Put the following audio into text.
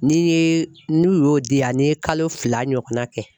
Ni n ye n y'o di yan n ye kalo fila ɲɔgɔnna kɛ